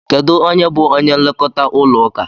Kedụ onye bu onye nlekọta ụlọ ụka?